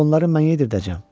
Axı onları mən yedirdəcəm.